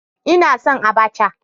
Ina son Abacha